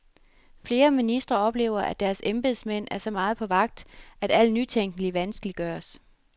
Flere ministre oplever, at deres embedsmænd er så meget på vagt, at al nytænkning vanskeliggøres.